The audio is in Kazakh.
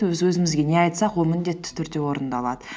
өз өзімізге не айтсақ ол міндетті түрде орындалады